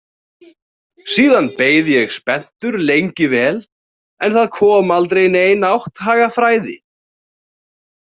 Síðan beið ég spenntur lengi vel en það kom aldrei nein átthagafræði.